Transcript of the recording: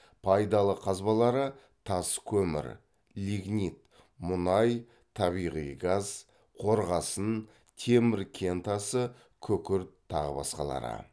пайдалы қазбалары тас көмір лигнит мұнай табиғи газ қорғасын темір кентасы күкірт тағы басқалары